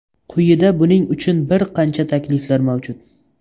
Quyida buning uchun bir qancha takliflar mavjud.